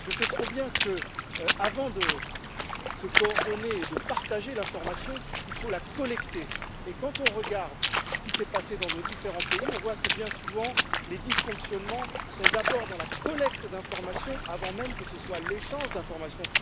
Je ne sais que trop bien que, avant de se coordonner et de partager l'information, il faut la collecter, et quand on regarde ce qui s'est passé dans nos différents pays, on voit que bien souvent, les dysfonctionnements touchent d'abord la collecte d'informations avant même l'échange d'informations.